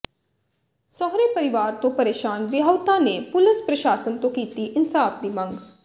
ਸਹੁਰੇ ਪਰਿਵਾਰ ਤੋਂ ਪਰੇਸ਼ਾਨ ਵਿਆਹੁਤਾ ਨੇ ਪੁਲਸ ਪ੍ਰਸ਼ਾਸਨ ਤੋਂ ਕੀਤੀ ਇਨਸਾਫ ਦੀ ਮੰਗ